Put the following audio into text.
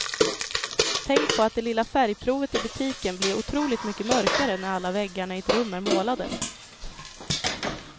Tänk på att det lilla färgprovet i butiken blir otroligt mycket mörkare när alla väggarna i ett rum är målade.